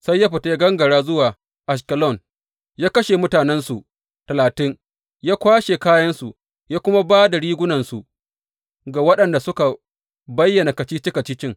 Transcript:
Sai ya fita ya gangara zuwa Ashkelon, ya kashe mutanensu talatin, ya kwashe kayansu ya kuma ba da rigunarsu ga waɗanda suka bayyana kacici kacicin.